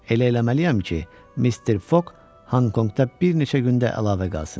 Elə eləməliyəm ki, Mister Foq Honkonqda bir neçə gündə əlavə qalsın.